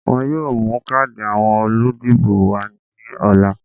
Wọ́n yóò mú káàdì àwọn olùdìbò wá ní ọ̀la